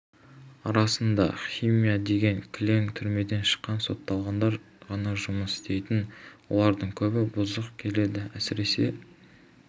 арасында химия дегенге кілең түрмеден шыққан сотталғандар ғана жұмыс істейтін олардың көбі бұзық келеді әсіресе